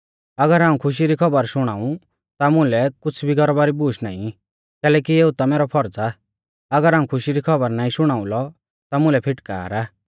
अगर हाऊं खुशी री खौबर शुणाऊं ता मुलै कुछ़ भी गर्वा री बूश नाईं कैलैकि एऊ ता मैरौ फर्ज़ आ अगर हाऊं खुशी री खौबर नाईं शुणाउलौ ता मुलै फिटकार आ